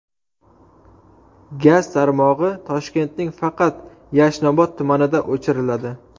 Gaz tarmog‘i Toshkentning faqat Yashnobod tumanida o‘chiriladi.